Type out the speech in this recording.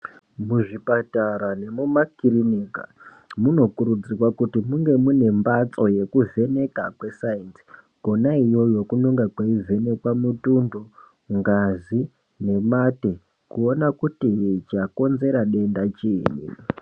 Muzvipatara nemumakirinika munokurudzirwa kuti munge munembatso yekuvheneka kwesainzi kuna iyoyo kunonga kweivhenekwa mutundo ngazi nemate kuona kuti chakonzera denda chiini